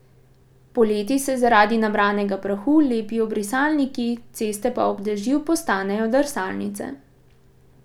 Poleti se zaradi nabranega prahu lepijo brisalniki, ceste pa ob dežju postanejo drsalnice.